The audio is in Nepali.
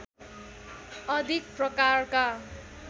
अधिक प्रकारका